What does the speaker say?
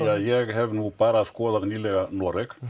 ja ég hef nú bara skoðað nýlega Noreg